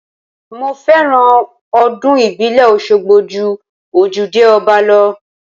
Mo fẹ́ràn ọdún ìbílẹ̀ Oṣogbo ju ojúde ọba lọ.